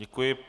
Děkuji.